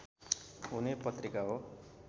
हुने पत्रिका हो